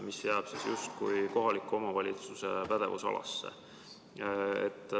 See jääb justkui kohaliku omavalitsuse pädevusalasse.